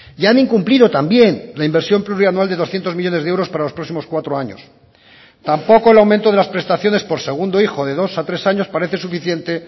y han incumplido también la inversión plurianual de doscientos millónes de euros para los próximos cuatro años tampoco el aumento de las prestaciones por segundo hijo de dos a tres años parece suficiente